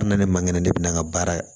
N nana ne man kɛnɛ ne bɛna n ka baara ye